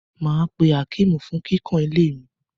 Mà á pe Akeem fún kíkàn ilé mi.